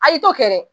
A y'i to kɛ dɛ